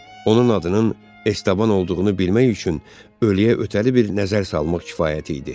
Onun adının Estaban olduğunu bilmək üçün ölüyə ötəli bir nəzər salmaq kifayət idi.